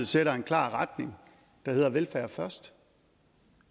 sætter en klar retning der sætter velfærd først